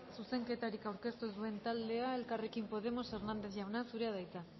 zuzenketarik aurkeztu ez duen taldea elkarrekin podemos hernández jauna zurea de hitza